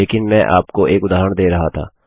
लेकिन मैं केवल आपको एक उदाहरण दे रहा था